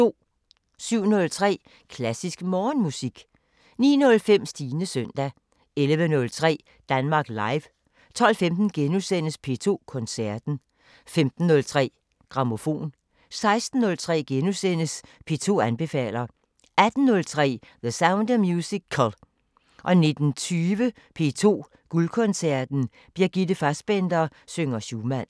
07:03: Klassisk Morgenmusik 09:05: Stines søndag 11:03: Danmark Live 12:15: P2 Koncerten * 15:03: Grammofon 16:03: P2 anbefaler * 18:03: The Sound of Musical 19:20: P2 Guldkoncerten: Brigitte Fassbaender synger Schumann